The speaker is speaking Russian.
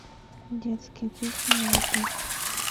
детские песни на ютуб